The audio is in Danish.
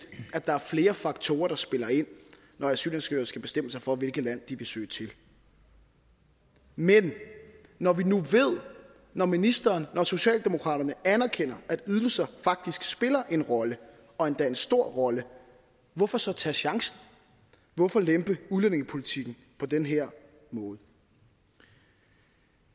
at der er flere faktorer der spiller ind når asylansøgere skal bestemme sig for hvilket land de vil søge til men når vi nu ved når ministeren når socialdemokratiet anerkender at ydelser faktisk spiller en rolle og endda en stor rolle hvorfor så tage chancen hvorfor lempe udlændingepolitikken på den her måde